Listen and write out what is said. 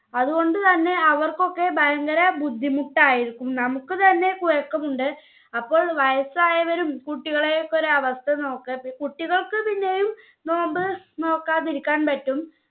അതുകൊണ്ട് തന്നെ അവർക്കൊക്കെ ഭയങ്കര ബുദ്ധിമുട്ടായിരിക്കും നമ്മുക്ക് തന്നെ കുഴക്കുന്നുണ്ട് അപ്പോൾ വയസ്സായവരും കുട്ടികളെയൊക്കെ ഒരവസ്ഥ നോക്ക്. കുട്ടികൾക്ക് പിന്നെയും നോമ്പ് നോൽക്കാതിരിക്കാൻ പറ്റും.